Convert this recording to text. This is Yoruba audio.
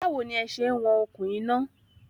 Báwo ní ẹ se ń wọn okùn iná?